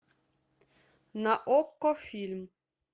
на окко фильм